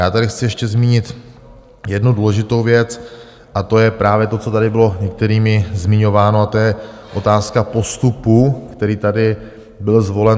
Já tady chci ještě zmínit jednu důležitou věc, a to je právě to, co tady bylo některými zmiňováno, a to je otázka postupu, který tady byl zvolen.